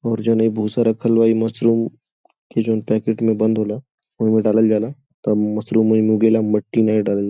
और जोन इ भूषा रखल बा ई मशरूम के जोन पैकेट में बंद होला ओहि में डालल जाला तब मशरुम ओहि में उगेला मट्टी नही डालल --